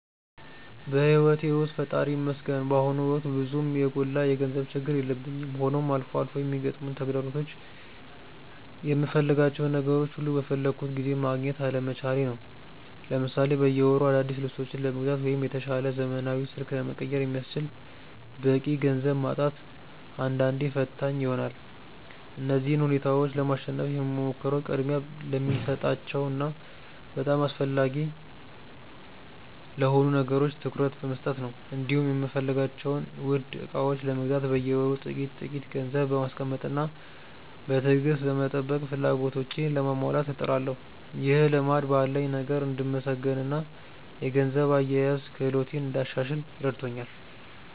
በሕይወቴ ውስጥ ፈጣሪ ይመስገን በአሁኑ ወቅት ብዙም የጎላ የገንዘብ ችግር የለብኝም፤ ሆኖም አልፎ አልፎ የሚገጥሙኝ ተግዳሮቶች የምፈልጋቸውን ነገሮች ሁሉ በፈለግኩት ጊዜ ማግኘት አለመቻሌ ነው። ለምሳሌ በየወሩ አዳዲስ ልብሶችን ለመግዛት ወይም የተሻለ ዘመናዊ ስልክ ለመቀየር የሚያስችል በቂ ገንዘብ ማጣት አንዳንዴ ፈታኝ ይሆናል። እነዚህን ሁኔታዎች ለማሸነፍ የምሞክረው ቅድሚያ ለሚሰጣቸው እና በጣም አስፈላጊ ለሆኑ ነገሮች ትኩረት በመስጠት ነው፤ እንዲሁም የምፈልጋቸውን ውድ ዕቃዎች ለመግዛት በየወሩ ጥቂት ጥቂት ገንዘብ በማስቀመጥና በትዕግስት በመጠባበቅ ፍላጎቶቼን ለማሟላት እጥራለሁ። ይህ ልማድ ባለኝ ነገር እንድመሰገንና የገንዘብ አያያዝ ክህሎቴን እንዳሻሽል ረድቶኛል።